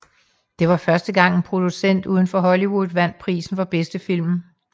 Det var første gang en producent uden for Hollywood vandt prisen for bedste film